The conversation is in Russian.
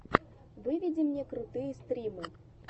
выведи мне крутые стримы